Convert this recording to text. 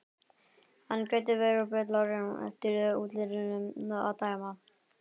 Hann gæti verið betlari eftir útlitinu að dæma.